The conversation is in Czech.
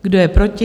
Kdo je proti?